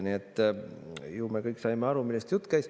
Nii et ju me kõik saime aru, millest jutt käis.